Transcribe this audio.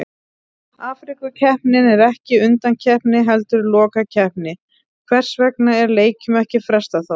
Afríkukeppnin er ekki undankeppni heldur lokakeppni, hvers vegna er leikjum ekki frestað þá?